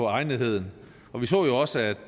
egnetheden vi så jo også at